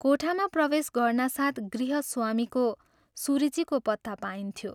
कोठामा प्रवेश गर्नासाथ गृहस्वामीको सुरुचिको पत्ता पाइन्थ्यो।